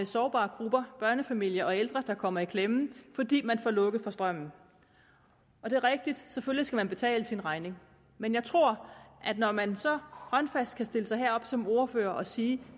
sårbare grupper børnefamilier og ældre der kommer i klemme fordi de får lukket for strømmen og det er rigtigt selvfølgelig skal man betale sin regning men jeg tror at når man så håndfast kan stille sig herop som ordfører og sige